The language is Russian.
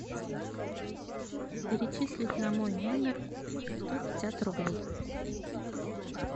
перечислить на мой номер сто пятьдесят рублей